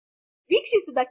ವಿಕ್ಷೀಸಿದಕ್ಕೆ ಧನ್ಯವಾದಗಳು